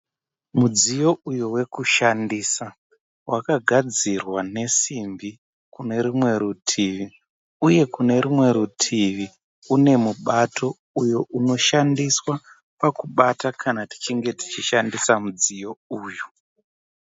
Mudziyo uyo wekushandisa. Wakagadzirwa nesimbi kunerumwe rutivi. Uye Kune rumwe rutivi une mubato uyo unoshandiswa pakubata kana tichinge tichishandisa mudziyo uyu.